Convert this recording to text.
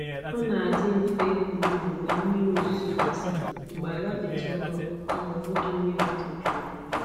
Ọ na-adị mfe ịkọ ubi mgbe mmiri ozuzo gasịrị mgbe ala dịtụ nro kama ọ bụghị mmiri itoju ya.